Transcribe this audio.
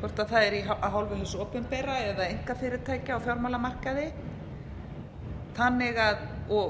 hvort það er af hálfu hins opinbera eða einkafyrirtækja á fjármálamarkaði